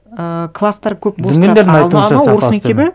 і класстар көп